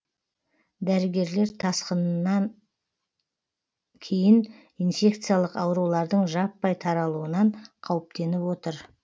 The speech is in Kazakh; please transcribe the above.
дәрігерлер тасқынан кейін инфекциялық аурулардың жаппай таралуынан қауіптеніп отыр